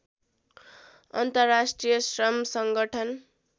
अन्तर्राष्ट्रिय श्रम सङ्गठन